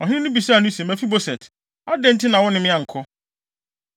Ɔhene no bisaa no se, “Mefiboset, adɛn nti na wo ne me ankɔ?”